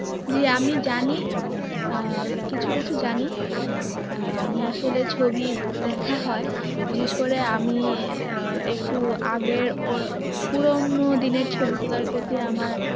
জী আমি জানি আহ কিছু কিছু জানি আহ আমি আসলে ছবি দেখা হয় বিশেষ করে আমি আহ একটু আগের অল~ পুরোনো দিনের ছবি গুলার প্রতি আমার